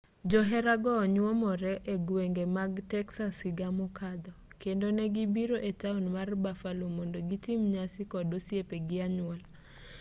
joherago nyuomore egwenge mag texas higa mokadho kendo negibiro etaon mar buffalo mond gitim nyasi kod osiepe gi anyuola